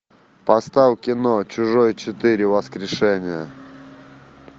поставь кино чужой четыре воскрешение